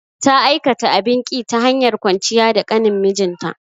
Ta aikata abin ƙi, ta hanyar kwanciya da ƙanin mijinta.